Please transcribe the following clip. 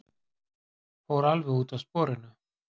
Fór alveg út af sporinu!